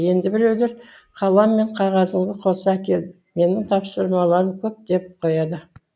енді біреулері қалам мен қағазыңды қоса әкел менің тапсырыстарым көп деп қояды